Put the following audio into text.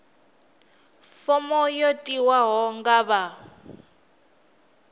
fomo yo tiwaho nga vha